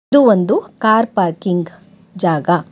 ಇದು ಒಂದು car parking ಜಾಗ.